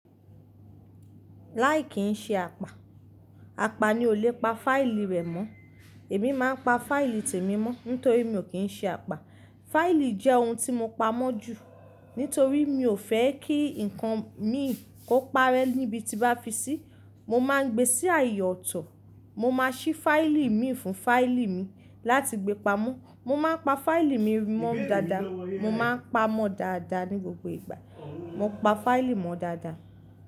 Láì kí n ṣe apá, apá ni o le pa fáìlì rẹ̀ mọ́. Èmi máa pa fáìlì tèmi mọ́ nítorí mi ò kí n ṣe apá. Fáìlì jẹ́ ohun tí mo pamọ́ jù nítorí mi ò fẹ́ kí ǹkan mi kó parẹ́ níbi tí bá fi sí, mo máa ń gbé sí ààyè ọ̀tọ̀. Mo máa sí fáìlì mi fún fáìlì mi láti gbe pamọ́. Mo máa pa fáìlì mi mọ́ dáadáa, mo máa ń pa á mọ́ dáadáa ní gbogbo ìgbà. Mo pa fáìlì mọ́ dáadáa.